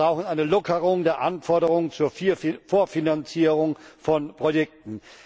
Wir brauchen eine Lockerung der Anforderung zur Vorfinanzierung von Projekten.